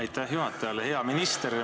Aitäh juhatajale!